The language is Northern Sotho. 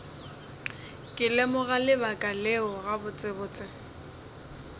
ke lemoga lebaka leo gabotsebotse